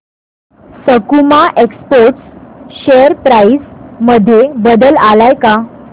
सकुमा exports share price मध्ये बदल आलाय का